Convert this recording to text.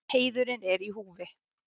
Heiðurinn er í húfi.